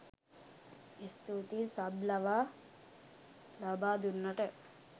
ස්තූතියි සබ් ලබා ලබා දුන්නට